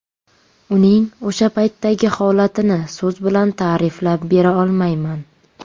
Uning o‘sha paytdagi holatini so‘z bilan ta’riflab bera olmayman.